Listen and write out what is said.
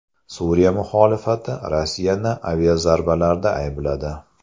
Suriya muxolifati Rossiyani aviazarbalarda aybladi.